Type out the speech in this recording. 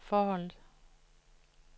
forholdet